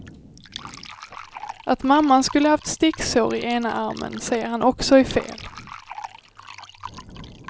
Att mamman skulle haft sticksår i ena armen säger han också är fel.